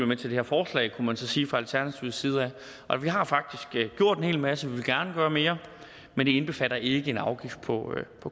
med til det her forslag kunne man så sige fra alternativets side nej vi har faktisk gjort en hel masse vil gerne gøre mere men det indbefatter ikke en afgift på